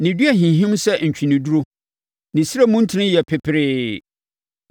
Ne dua hinhim sɛ ntweneduro; ne srɛ mu ntini yɛ peperee.